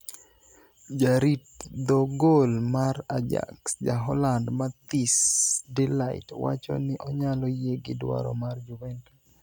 jarit dho gol mar Ajax jaholand Matthijs de Light wacho ni onyalo yie gi dwaro mar Juventus